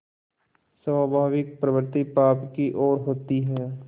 स्वाभाविक प्रवृत्ति पाप की ओर होती है